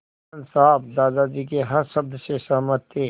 आनन्द साहब दादाजी के हर शब्द से सहमत थे